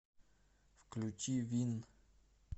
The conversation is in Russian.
включи вин